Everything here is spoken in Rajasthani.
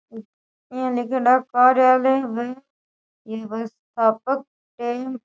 ये एक कार्यालय में एक व्यस्थापक --